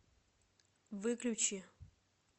выключи